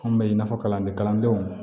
An bɛ i n'a fɔ kalanden kalandenw